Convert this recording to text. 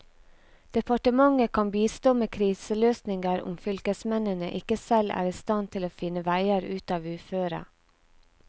Departementet kan bistå med kriseløsninger om fylkesmennene ikke selv er i stand til å finne veier ut av uføret.